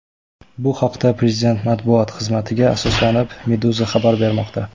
Bu haqda, prezident matbuot xizmatiga asoslanib, Meduza xabar bermoqda .